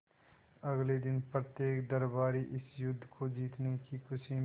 अगले दिन प्रत्येक दरबारी इस युद्ध को जीतने की खुशी में